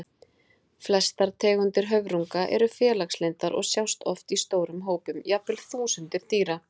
Flestar tegundir höfrunga eru félagslyndar og sjást oft í stórum hópum, jafnvel þúsundir dýra.